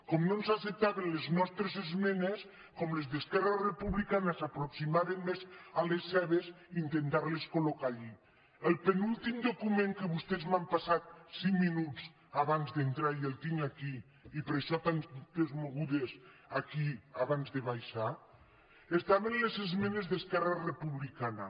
com no ens acceptaven les nostres esmenes com les d’esquerra republicana s’aproxima·ven més a les seves intentar·les col·núltim document que vostès m’han passat cinc minuts abans d’entrar i el tinc aquí i per això tantes mogudes aquí abans de baixar estaven les esmenes d’esquerra republicana